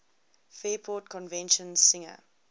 fairport convention singer